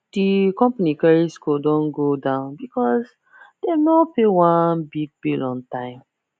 the company credit score don go down because dem no pay one big bill on time